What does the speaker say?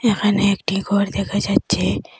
এখানে একটি ঘর দেখা যাচ্ছে।